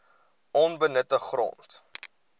onbenutte grond